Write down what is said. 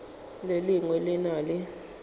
le lengwe le na le